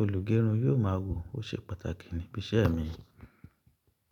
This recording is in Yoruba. olùgẹrun yóò máa wù, ó ṣe pàtàkì níbi iṣẹ́ mi.